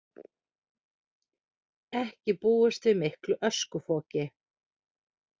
Ekki búist við miklu öskufoki